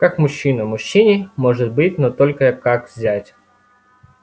как мужчина мужчине может быть но только как зять